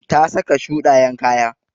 Ta saka shuɗayen kaya.